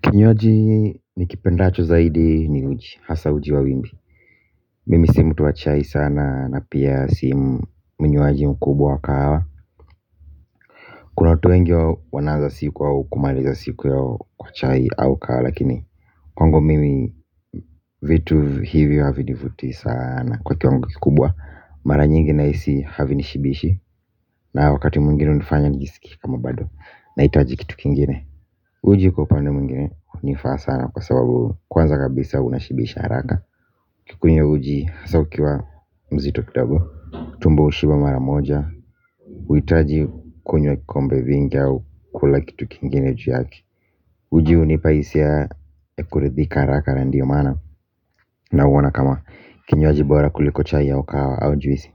Kinywaji ni kipendacho zaidi ni uji, hasa uji wa wimbi. Mimi si mtu w achai sana na pia si mnywaji mkubwa kahawa. Kuna watu wengi huwa wanaanza siku yao kumaliza siku yao kwa chai au kahawa lakini kwangu mimi vitu hivyo havinivuti sana kwa kiwango kikubwa mara nyingi nahisi havinishibishi. Na wakati mwingine unifanya nijisikie kama bado naitaji kitu kingine. Uji kwa upande mingine unifaa sana kwa sababu kwanza kabisa unashibisha haraka ukikunywa uji hasa ukiwa mzito kidogo, tumbo ushiba maramoja, uitaji kunywe kikombe vingi au kula kitu kingine ju yake. Uji unipa hisia kuridhika haraka na ndio maana nauona kama kinywaji bora kuliko chai au kahawa au juisi.